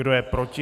Kdo je proti?